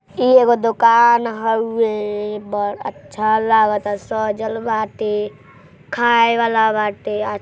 ई एगो दोकान हउए। बड़ अच्छा लागता सजल बाटे। खाए वाला बाटे। आ --